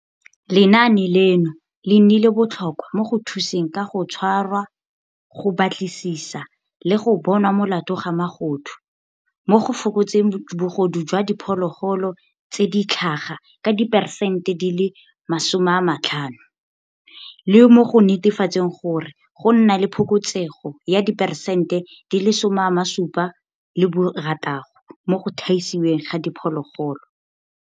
Lenaane leno le nnile botlhokwa mo go thuseng ka go tshwara, go batlisisa le go bonwa molato ga magodu, mo go fokotseng bogodu jwa di phologolo tse di tlhaga ka diperesente 50 le mo go netefatseng gore go nna le phokotsego ya diperesente 76 mo go thaisiweng ga diphologolo.